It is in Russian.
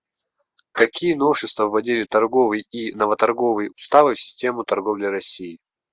какие новшества вводили торговый и новоторговый уставы в систему торговли в россии